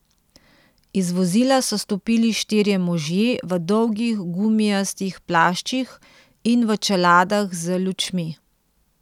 Iz vozila so stopili štirje možje v dolgih gumijastih plaščih in v čeladah z lučmi.